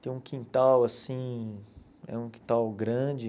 Tem um quintal assim, é um quintal grande.